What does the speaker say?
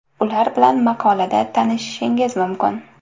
Ular bilan maqolada tanishishingiz mumkin.